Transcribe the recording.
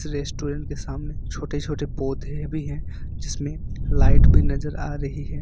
Restaurant के सामने छोटे छोटे पौधे भी हैं जिसमें लाइट भी नजर आ रही है।